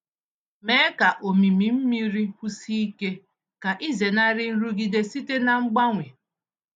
Mee ka omimi mmiri kwụsie ike ka ịzenarị nrụgide site na mgbanwe.